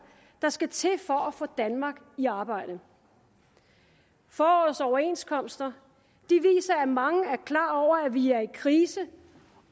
der skal til for at få danmark i arbejde forårets overenskomster viser at mange er klar over at vi er i krise